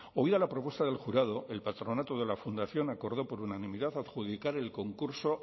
oída la propuesta del jurado el patronato de la fundación acordó por unanimidad adjudicar el concurso